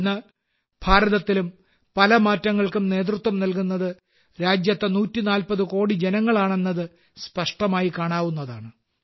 ഇന്ന് ഭാരതത്തിലും പല മാറ്റങ്ങൾക്കും നേതൃത്വം നൽകുന്നത് രാജ്യത്തെ 140 കോടി ജനങ്ങളാണെന്നത് സ്പഷ്ടമായി കാണാവുന്നതാണ്